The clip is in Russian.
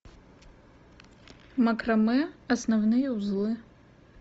макраме основные узлы